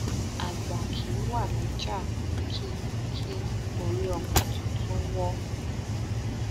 àgbà kì í wá lọjà kí kí orí ọmọ tuntun wọ